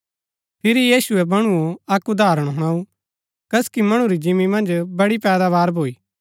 फिरी यीशुऐ मणुओ अक्क उदाहरण हुणाऊ कसकी मणु री जिंमी मन्ज बड़ी पैदावार भूई